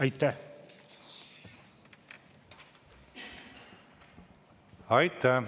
Aitäh!